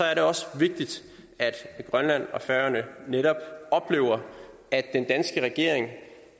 er det også vigtigt at grønland og færøerne netop oplever at den danske regering